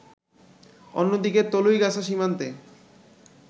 অন্যদিকে তলুইগাছা সীমান্তে